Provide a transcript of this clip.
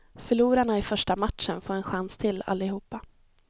Förlorarna i första matchen får en chans till, allihopa.